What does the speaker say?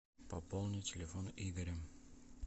пополни телефон игоря